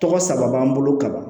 Tɔgɔ saba b'an bolo kaban